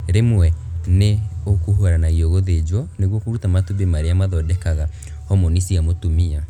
Rĩmwe nĩ ũkuruhanagia gũthĩnjwo nĩguo kũruta matumbĩ marĩa mathondekaga homoni cia mũtumia